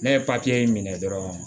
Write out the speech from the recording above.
Ne ye minɛ dɔrɔn